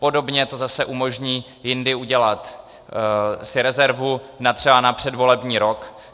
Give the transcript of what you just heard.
Podobně to zase umožní jindy si udělat rezervu třeba na předvolební rok.